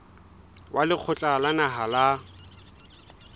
wa lekgotla la naha la